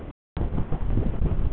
Sigurður, mun rigna í dag?